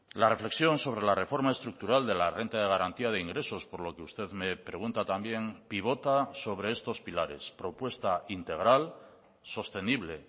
la reflexión sobre la reforma estructural de la renta de garantía de ingresos por lo que usted me pregunta también pivota sobre estos pilares propuesta integral sostenible